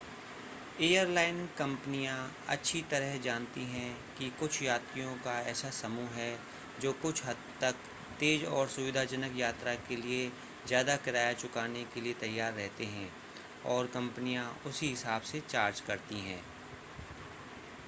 airline कंपनियां अच्छी तरह जानती हैं कि कुछ यात्रियों का एक ऐसा समूह है जो कुछ हद तक तेज़ और सुविधाजनक यात्रा के लिए ज़्यादा किराया चुकाने के लिए तैयार रहते हैं और कंपनियां उसी हिसाब से चार्ज करती हैं